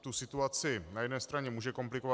tu situaci na jedné straně může komplikovat.